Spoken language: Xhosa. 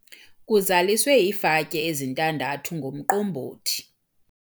Kuzaliswe iifatyi ezintandathu ngomqombothi.